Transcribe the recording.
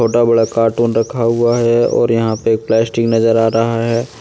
इतना बड़ा कार्टून रखा हुआ है और यहां पे एक प्लास्टिक नजर आ रहा है।